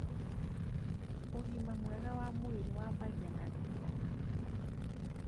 ũgima mwega wa mwĩrĩ wambagia na riko.